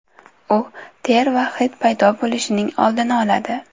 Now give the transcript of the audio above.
U ter va hid paydo bo‘lishining oldini oladi.